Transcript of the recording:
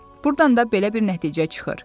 Burdan da belə bir nəticə çıxır.